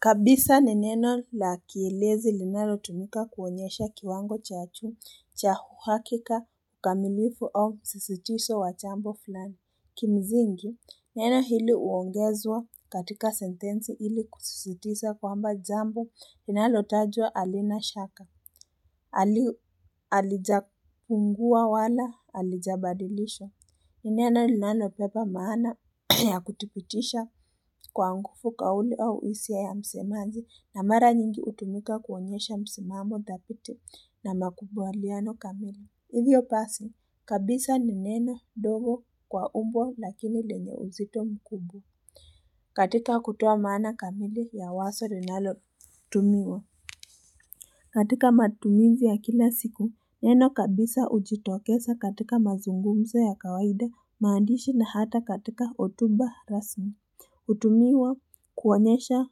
Kabisa ni neno la kielezi linalo tumika kuonyesha kiwango chachu cha huhakika kamilifu au msisitiso wa chambo fulani. Kimizingi, neno hili uongezwa katika sentenzi hili kusisitisa kwamba jambo linalo tajwa alina shaka, alijapungua wala alijabadilisha. Ni neno linalo pepa maana ya kutipitisha kwa ngufu kauli au isia ya msemanji na mara nyingi utumika kuonyesha msimamo dhapiti na makubwa liano kamili. Hivyo pasi, kabisa n neno dogo kwa umbo lakini lenye uzito mkubwa. Katika kutoa maana kamili ya waso linalo tumiwa. Katika matumizi ya kila siku, neno kabisa ujitokesa katika mazungumzo ya kawaida maandishi na hata katika otuba rasmi. Utumiwa kuonyesha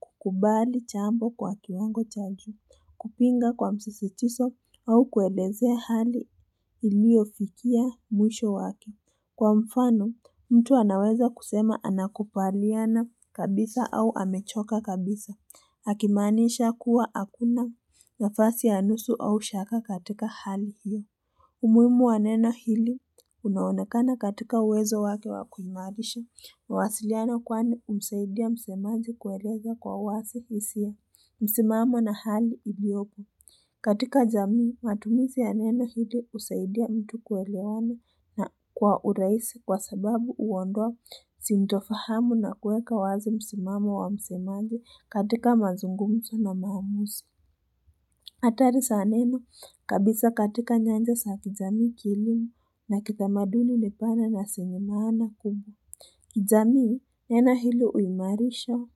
kukubali chambo kwa kiwango cha juu, kupinga kwa msisitiso au kuelezea hali iliofikia mwisho wake. Kwa mfano, mtu anaweza kusema anakupaliana kabisa au amechoka kabisa. Akimaanisha kuwa hakuna nafasi ya nusu au shaka katika hali hiyo. Umuimu wa nena hili, unaonekana katika uwezo wake wa kuimarisha mawasiliano kwani umsaidia msemazi kueleza kwa wasi hisia. Msimamo na hali iliyoko. Katika jamii, matumisi ya neno hili usaidia mtu kuelewana na kwa uraisi kwa sababu uondoa sintofahamu na kueka wazi msimamo wa msemaji katika mazungumso na maamusi. Atari saaneni kabisa katika nyanja za kijamii kielimu na kitamaduni ni pana na sina maana kubwa. Kijamii, nena hilo uimarisha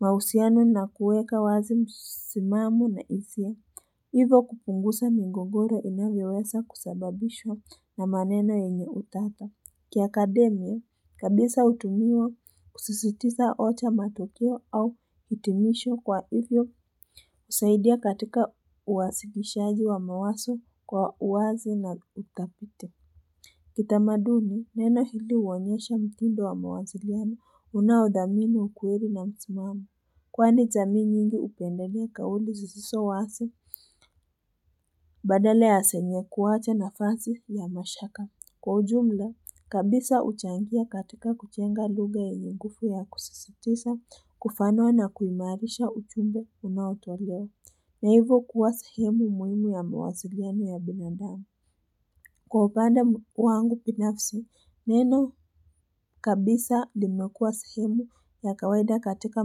mausiano na kuweka wazi msimamu na isia, hivo kupungusa migogoro inavyowesa kusababishwa na maneno yenye utata. Kia akademia, kabisa utumiwa kususitiza ocha matukio au itimisho kwa hivyo usaidia katika uwasilishaji wa mawaso kwa uwazi na utapiti. Kitamaduni, neno hili uonyesha mtindo wa mawasiliano unaodhamini ukweli na mtimamo. Kwani jamii nyingi upendelea kauli zisiso wasi, badala ya senye kuwacha nafasi ya mashaka. Kwa ujumla, kabisa uchangia katika kuchenga lugha yenye ngufu ya kusisitisa, kufanua na kuimarisha uchumbe unaotolewa. Na hivo kuwa sahemu muhimu ya mawasiliano ya binandamu. Kwa upanda wangu pinafisi, neno kabisa limekua sehemu ya kawaida katika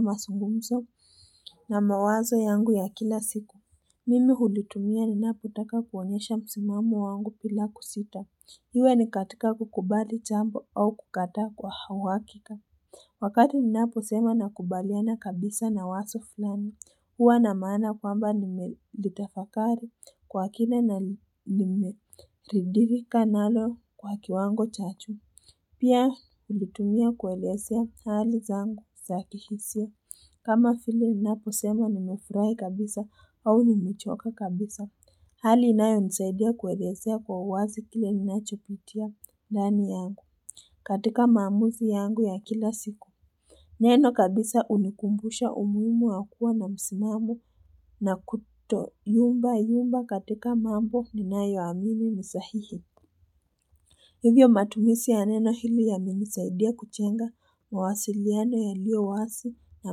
masungumso na mawazo yangu ya kila siku. Mimi hulitumia ninapotaka kuonesha msimamu wangu pila kusita. Iwe ni katika kukubali chambo au kukataa kwa uhakika. Wakati ninaposema nakubaliana kabisa na waso fulani, hua na maana kwamba nimelitafakari kwa kina na nime ridhika nalo kwa kiwango chachu. Pia ulitumia kuelesea hali zangu za kihisia. Kama file ninapo sema nimefrai kabisa au nimechoka kabisa. Hali inayo nisaidia kuelesea kwa uwazi kile ninachopitia ndani yangu katika maamusi yangu ya kila siku. Neno kabisa unikumbusha umuimu wa kua na msimamo na kutoyumba yumba katika mambo ninayo amini ni sahihi. Hivyo matumisi ya neno hili yamenisaidia kuchenga mawasiliano yalio wasi na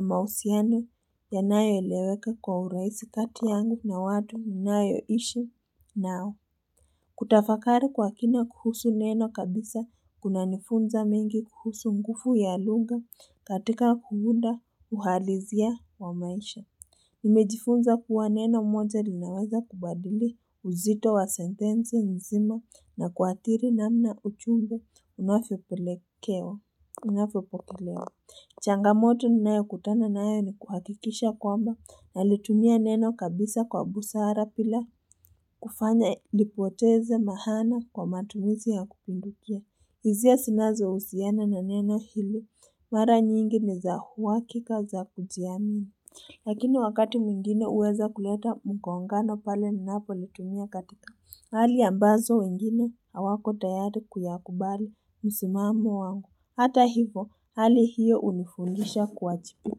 mausiano yanayo eleweka kwa uraisi kati yangu na watu ninayo ishi nao. Kutafakari kwa kina kuhusu neno kabisa kuna nifunza mingi kuhusu ngufu ya lugha katika kuunda uhalizia wa maisha Nimejifunza kuwa neno moja linaweza kubadili uzito wa sentensi nzima na kuathiri namna uchunda unavyopelekewa Unafyopokelewa, changamoto ninayo kutana nayo ni kuhakikisha kwamba nalitumia neno kabisa kwa busara pila kufanya lipoteze maana kwa matumizi ya kupindukia. Izia sinazo usiana na neno hilo, mara nyingi ni za uwakika za kujiamina. Lakini wakati mwingine huweza kuleta mgongano pale ninapo litumia katika Hali ambazo wengine awako tayari kuyakubali msimamo wangu. Hata hivo hali hiyo unifundisha kuajipu.